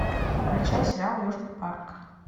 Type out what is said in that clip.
включай сериал южный парк